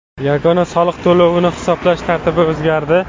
Yagona soliq to‘lovini hisoblash tartibi o‘zgardi.